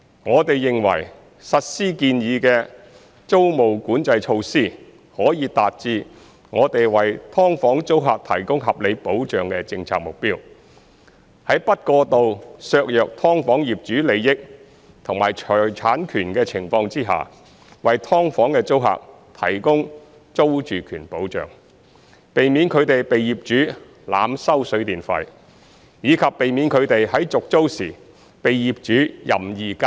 我們認為，實施建議的租務管制措施，可以達致我們為"劏房"租客提供合理保障的政策目標，在不過度削弱"劏房"業主利益和財產權的情況下，為"劏房"的租客提供租住權保障，避免他們被業主濫收水電費，以及避免他們在續租時被業主任意加租。